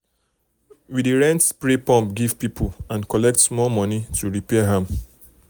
we dey rent spray pump give people and collect small money to repair am.